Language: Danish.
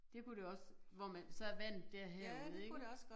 Det kunne det også hvor man så vandet det er herude ik